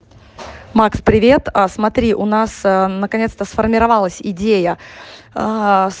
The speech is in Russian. макс привет смотри а у нас наконец-то сформировалась идея ээ с